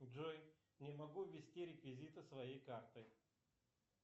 джой не могу ввести реквизиты своей карты